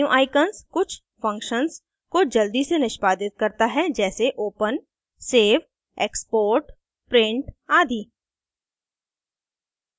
menu icons कुछ functions को जल्दी से निष्पादित करता है जैसे: open सेव export print आदि